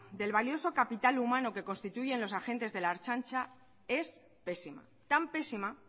del valioso capital humano que constituyen los agentes de la ertzaintza es pésima tan pésima